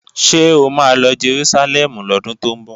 Ṣé o ma lọ Jerúsálẹ́mù lọ́dún tó ń bọ̀?